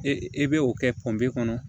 E e bɛ o kɛ panpe kɔnɔ